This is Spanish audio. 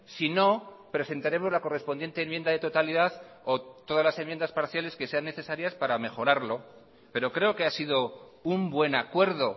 si no presentaremos la correspondiente enmienda de totalidad o todas las enmiendas parciales que sean necesarias para mejorarlo pero creo que ha sido un buen acuerdo